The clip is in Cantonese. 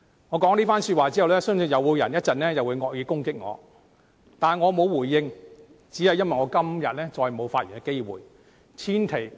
我說了這番說話後，相信稍後又會有人惡意攻擊我，但我不會回應，只因為我今天再沒有發言的機會。